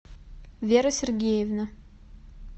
вера сергеевна